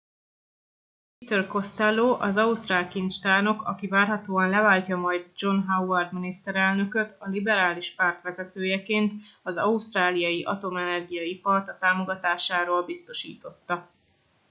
peter costello az ausztrál kincstárnok aki várhatóan leváltja majd john howard miniszterelnököta liberális párt vezetőjeként az ausztráliai atomenergia ipart a támogatásáról biztosította